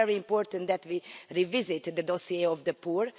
It's very important that we revisit the dossier of the poor.